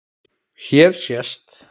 Hér sést